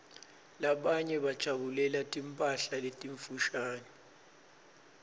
labanye bajabulela timphala letimfushane